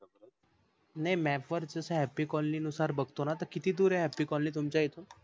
नाही map वर जस happy colony नुसार बघतो न किती दूर आहे happy colony तुमच्या इकडून?